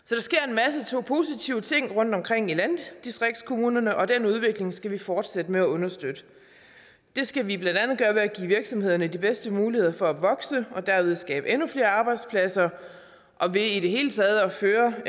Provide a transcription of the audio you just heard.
så positive ting rundtomkring i landdistriktskommunerne og den udvikling skal vi fortsætte med at understøtte det skal vi blandt andet gøre ved at give virksomhederne de bedste muligheder for at vokse og derved skabe endnu flere arbejdspladser og ved i det hele taget at føre